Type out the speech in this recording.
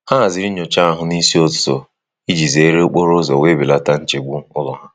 Ha haziri nyocha ahụ n'isi ụtụtụ iji zere okporo ụzọ wee belata nchegbu ụlọ ha.